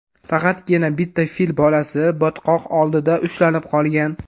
Faqatgina bitta fil bolasi botqoq oldida ushlanib qolgan.